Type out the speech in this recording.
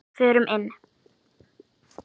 Förum inn.